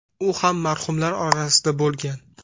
U ham marhumlar orasida bo‘lgan.